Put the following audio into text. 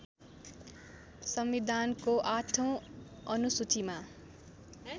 संविधानको आठौँ अनुसूचीमा